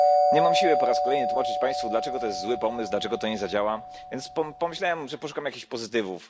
Nie mam siły po raz kolejny tłumaczyć Państwu, dlaczego to jest zły pomysł, dlaczego to nie zadziała, więc pomyślałem, że poszukam jakichś pozytywów.